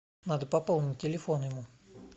надо пополнить телефон ему